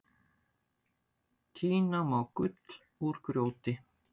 Tína má gull úr grjóti.